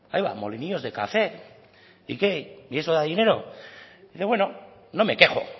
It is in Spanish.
aiba molinillos de café y eso da dinero dice bueno no me quejo